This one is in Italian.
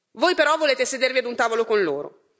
Voi però volete sedervi a un tavolo con loro.